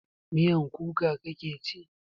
Miyan kuka kake ci?